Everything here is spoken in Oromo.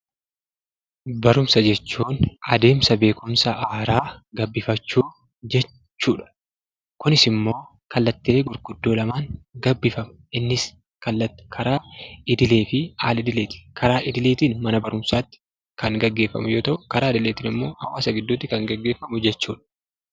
Barumsa jechuun adeemsa beekumsa haaraa gabbifachuu jechuudha. Kunisimmoo kallattiilee gurguddoo lamaan gabbifama. Innis karaa idileefi aal-idileeti. Idileetiin mana barumsaatti kan gaggeeffamu yommuu ta'u karaa aal-idileetin ammoo hawaasa gidduutti kan gaggeefamu jechuudha.